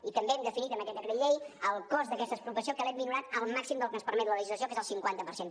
i també hem definit amb aquest decret llei el cost d’aquesta expropiació que l’hem minorat al màxim del que ens permet la legislació que és el cinquanta per cent